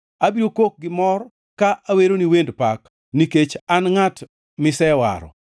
Abiro kok gi mor ka aweroni wend pak, nikech an ngʼat misewaro.